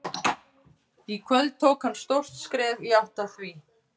Í kvöld tók hann stórt skref í átt að því.